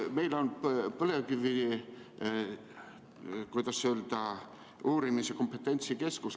Meil on olemas põlevkivi kompetentsikeskus.